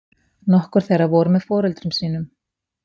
Nokkur þeirra voru með foreldrum sínum